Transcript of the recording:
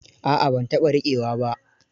A'a ban taɓa rikewa ba.